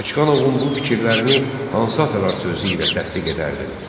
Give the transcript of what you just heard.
Bakıxanovun bu fikirlərini hansı atalar sözü ilə təsdiq edərdin?